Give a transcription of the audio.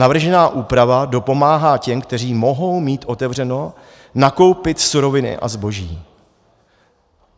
Navržená úprava dopomáhá těm, kteří mohou mít otevřeno, nakoupit suroviny a zboží.